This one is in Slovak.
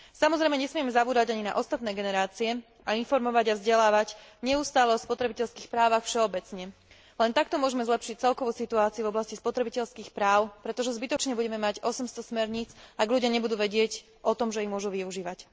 Samozrejme, nesmieme zabúdať ani na ostatné generácie a informovať a vzdelávať neustále o spotrebiteľských právach všeobecne. Len takto môžeme zlepšiť celkovú situáciu v oblasti spotrebiteľských práv, pretože zbytočne budeme mať 800 smerníc, ak ľudia nebudú vedieť o tom, že ich môžu využívať.